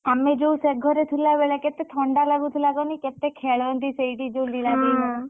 ଆମେ ଯୋଉ ସେଘରେ ଥିଲା ବେଳେ କେତେ ଥଣ୍ଡା ଲାଗୁଥିଲା କହନୀ କେତେ ଖେଳନ୍ତି ସେଇଠି ଯୋଉ ଲୀଳା ।